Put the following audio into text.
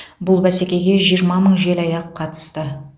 бұл бәсекеге жиырма мың желаяқ қатысты